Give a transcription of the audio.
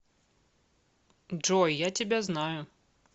джой я тебя знаю